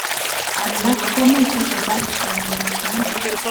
alak komuchei kobar konyek tuwan